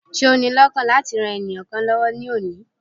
Ṣé o ni lọ́kàn láti ran ènìyàn kan lọ́wó ní òní?